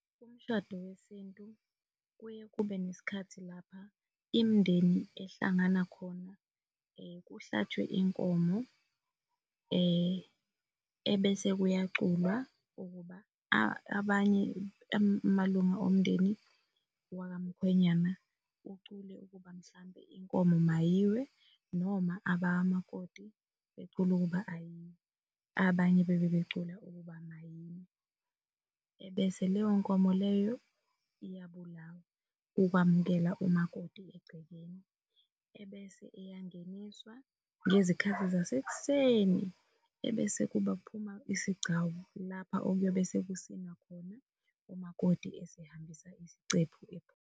Umshado wesintu kuye kube nesikhathi lapha imindeni ehlangana khona kuhlatshwe inkomo, ebese kuyaculwa ukuba abanye amalunga omndeni waka mkhwenyana ucule ukuba mhlampe inkomo mayiwe noma abakamakoti becula ukuba ayiwe, abanye bebe becula ukuba mayiwe, ebese leyo nkomo leyo iyabulawa ukwamukela umakoti egcekeni, ebese eyangeniswa ngezikhathi zasek'seni, ebese kube kuphuma isigcawu lapha okuyobe sekusinwa khona umakoti esehambisa isicephu .